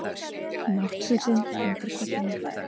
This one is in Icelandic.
Náttfötin undir koddanum.